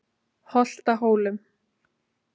Holtahólum